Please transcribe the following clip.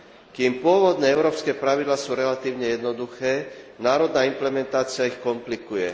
Kým pôvodné európske pravidlá sú relatívne jednoduché, národná implementácia ich komplikuje.